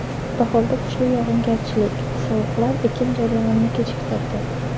Bahorda kuchli yog‘ingarchilik, sovuqlar ekin jarayonini kechiktirdi.